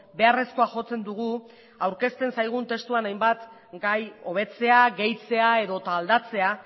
beharrezkoa jotzen dugu aurkezten zaigun testuan hainbat gai hobetzea gehitzea edota aldatzea